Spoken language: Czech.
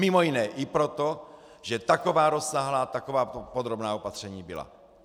Mimo jiné i proto, že taková rozsáhlá, taková podrobná opatření byla.